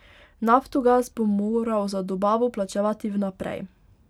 Naftogaz bo moral za dobavo plačevati vnaprej.